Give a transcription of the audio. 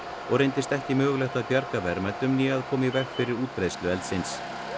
og reyndist ekki mögulegt að bjarga verðmætum né að koma í veg fyrir útbreiðslu eldsins